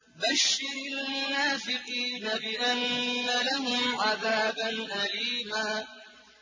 بَشِّرِ الْمُنَافِقِينَ بِأَنَّ لَهُمْ عَذَابًا أَلِيمًا